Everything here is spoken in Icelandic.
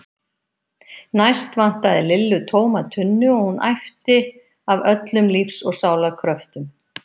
Næst vantaði Lillu tóma tunnu og hún æpti af öllum lífs og sálar kröftum